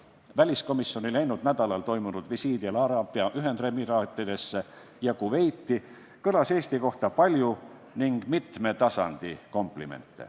Väliskomisjoni läinud nädalal toimunud visiidil Araabia Ühendemiraatidesse ja Kuveiti kõlas Eesti kohta palju komplimente mitmel tasandil.